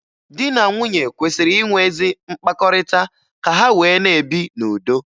Di na nwunye kwesịrị inwe ezi mkpakọrịta ka ha wee na-ebi n'udo.